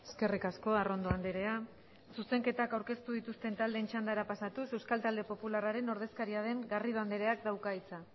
eskerrik asko arrondo andrea zuzenketak aurkeztu dituzten taldeen txandara pasatuz euskal talde popularraren ordezkaria den garrido andreak dauka hitza